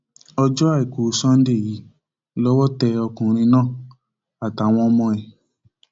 ọjọ àìkú sànńdẹ yìí lọwọ tẹ ọkùnrin náà àtàwọn ọmọ ẹ